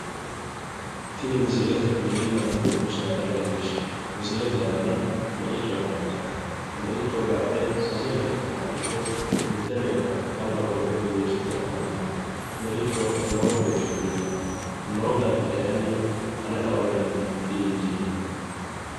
Tini misile mininna dubbu saada leellishshanno misilete aana meicho afantanno meicho gadhe sase leka xaaxidhe mitte lekka alba qolte diriirsite afantanno meicho lowo geeshsha biiffanno noo dargi kayeenni ane lao garinni di injiinoe.